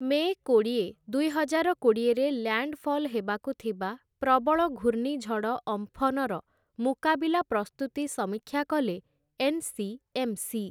ମେ' କୋଡ଼ିଏ, ଦୁଇହଜାର କୋଡ଼ିଏରେ ଲ୍ୟାଣ୍ଡଫଲ୍‌ ହେବାକୁ ଥିବା ପ୍ରବଳ ଘୂର୍ଣ୍ଣିଝଡ଼ ଅମ୍ଫନର ମୁକାବିଲା ପ୍ରସ୍ତୁତି ସମୀକ୍ଷା କଲେ ଏନ୍‌.ସି.ଏମ୍‌.ସି. ।